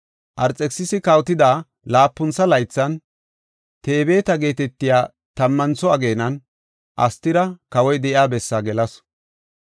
Arxekisisi kawotida laapuntha laythan, Tebeeta geetetiya tammantho ageenan Astira kawoy de7iya bessaa gelasu.